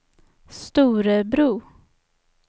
Storebro